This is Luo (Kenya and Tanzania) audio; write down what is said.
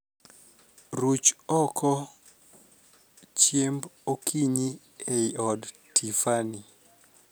Ruch oko chiemb okinyi ei od Tiffany